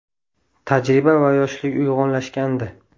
Tajriba va yoshlik uyg‘unlashgandi.